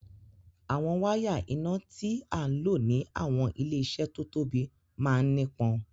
Awọn wàya iná tìà lọ̀ ni awọn ilẹ-iṣẹ́ tó tóbi màn nípọn.